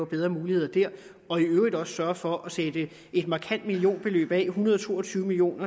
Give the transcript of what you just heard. bedre muligheder der og i øvrigt også sørger for at sætte et markant millionbeløb en hundrede og to og tyve million